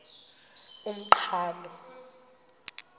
umqhano